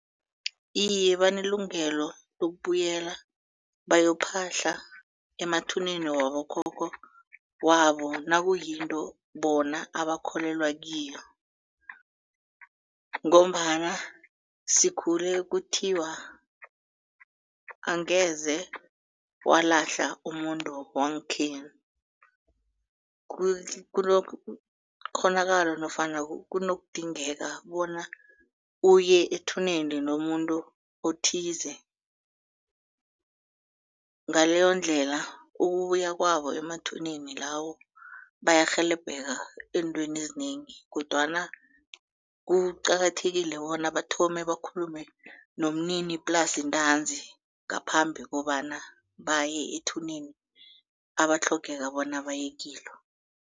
Iye, banelungelo lokubuyela bayokuphahla emathuneni wabokhokho wabo nakuyinto bona abakholelwa kiyo ngombana sikhule kuthiwa angeze walahla umuntu wangekhenu. Kunekghonakalo nofana kunokudingeka bona uye ethuneni lomuntu othize ngaleyondlela ukuya kwabo emathuneni lawo bayarhelebheka eentweni ezinengi kodwana kuqakathekile bona bathome bakhulume nomnini plasi ntanzi ngaphambi kobana baye ethuneni abatlhogeka bona baye kilo.